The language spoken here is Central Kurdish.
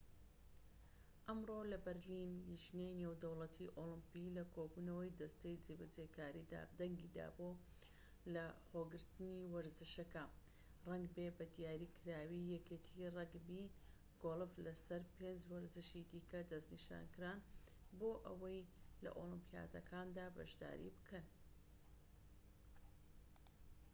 ئەمڕۆ لەبەرلین لیژنەی نێودەوڵەتی ئۆڵمپی لە کۆبوونەوەی دەستەی جێبەجێکاریدا دەنگی دا بۆ لەخۆگرتنی وەرزشەکە ڕەگبی بە دیاریکراوی یەکێتی ڕەگبی و گۆڵف لەسەر پێنج وەرزشی دیکە دەستنیشانکران بۆ ئەوەی لە ئۆلیمپیاتەکاندا بەشداری بکەن